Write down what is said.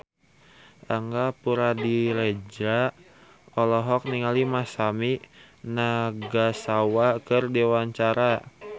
Angga Puradiredja olohok ningali Masami Nagasawa keur diwawancara